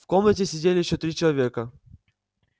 в комнате сидели ещё три человека